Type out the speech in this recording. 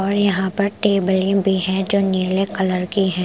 और यहाँ पर टेबले भी है जो नीले कलर की है ।